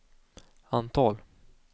antal